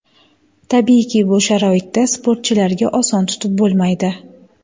Tabiiyki, bu sharoitda sportchilarga oson tutib bo‘lmaydi.